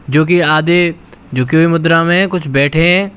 जोकि आधे झुके हुए मुद्रा मे है कुछ बैठे हैं।